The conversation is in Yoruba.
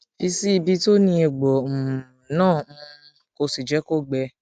fi sí ibi tó ní egbo um náà um kó o sì jẹ kó gbẹ